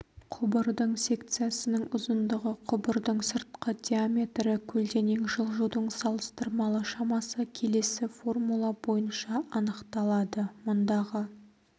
құбырдың секциясының ұзындығы құбырдың сыртқы диаметрі көлденең жылжудың салыстырмалы шамасы келесі формула бойынша анықталады мұндағы